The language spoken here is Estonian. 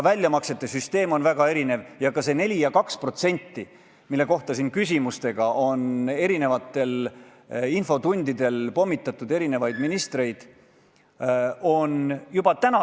Väljamaksesüsteem näeb ka ette erinevusi: kellel on väiksem summa kogunenud, neile makstakse 4 + 2% välja juba täna.